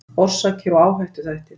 Orsakir og áhættuþættir